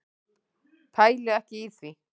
Pæli ekki í því.